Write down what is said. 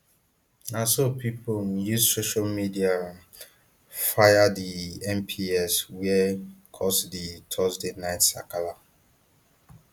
na so pipo um use social media um fire di mps wia cause di thursday night sakala